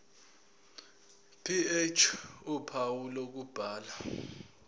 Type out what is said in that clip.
ph uphawu lokubhala